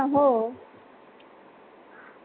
हो